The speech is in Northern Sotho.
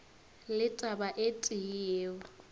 le taba e tee yeo